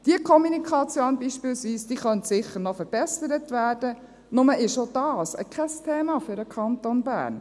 Diese Kommunikation beispielsweise könnte sicher noch verbessert werden, nur ist auch dies kein Thema für den Kanton Bern.